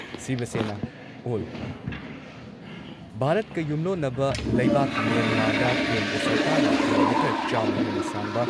ꯁꯤꯕ ꯁꯦꯅꯥ ꯑꯣꯜ ꯚꯥꯔꯠꯀ ꯌꯨꯝꯂꯣꯟꯅꯕ ꯂꯩꯕꯥꯛ ꯃ꯭ꯌꯥꯟꯃꯥꯔꯗ ꯀꯦꯟꯗ꯭ꯔ ꯁꯔꯀꯥꯔꯅ ꯀꯤꯂꯣꯃꯤꯇꯔ ꯆꯥꯝꯃ ꯍꯦꯟꯅ ꯁꯥꯡꯕ